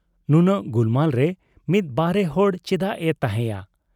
ᱱᱩᱱᱟᱹᱜ ᱜᱩᱞᱢᱟᱞ ᱨᱮ ᱢᱤᱫ ᱵᱟᱦᱨᱮ ᱦᱚᱲ ᱪᱮᱫᱟᱜ ᱮ ᱛᱟᱜᱦᱮᱸᱭᱟ ᱾